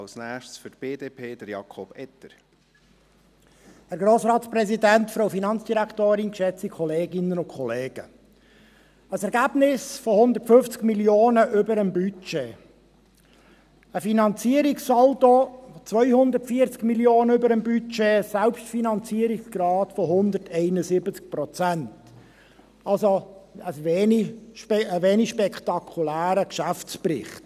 Ein Ergebnis von 150 Mio. Franken über dem Budget, ein Finanzierungssaldo von 240 Mio. Franken über dem Budget, ein Selbstfinanzierungsgrad von 171 Prozent – ein wenig spektakulärer Geschäftsbericht.